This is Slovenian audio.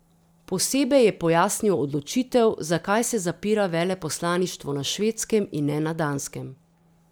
Posebej je pojasnil odločitev, zakaj se zapira veleposlaništvo na Švedskem in ne na Danskem.